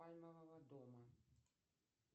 пальмового дома